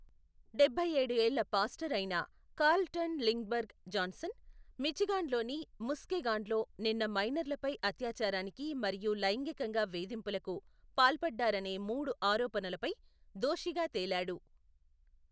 డబ్బై ఏడు ఏళ్ల పాస్టర్ అయిన కార్ల్టన్ లిండ్బర్గ్ జాన్సన్, మిచిగాన్లోని ముస్కెగాన్లో నిన్న మైనర్లపై అత్యాచారానికి మరియు లైంగికంగా వేధింపులకు పాల్పడ్డారనే మూడు ఆరోపణలపై దోషిగా తేలాడు.